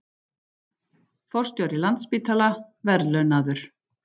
Forstjóri Landspítala verðlaunaður